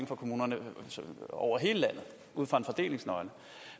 fra kommunerne over hele landet ud fra en fordelingsnøgle